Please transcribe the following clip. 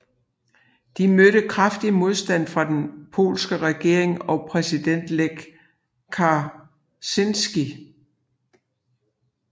Det mødte kraftig modstand fra den polske regering og præsident Lech Kaczyński